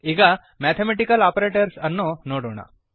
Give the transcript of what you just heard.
ಈಗ mathematical operators ಅನ್ನು ನೋಡೋಣ